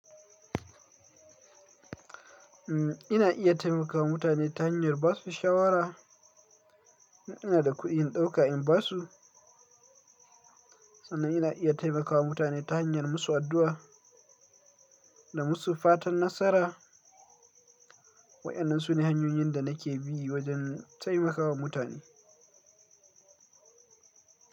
Umm, ina iya taimakawa mutane ta hanyar ba su shawara. In ina da kuɗi, in ɗauka in basu. Sannan ina iya taimakawa mutane ta hanyar musu addu'a da musu fatan nasara. Wa'inan sune hanyoyin da nake bi wajen taimakawa mutane.